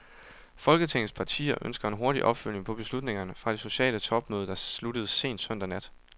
Folketingets partier ønsker en hurtig opfølgning på beslutningerne fra det sociale topmøde, der sluttede sent søndag nat.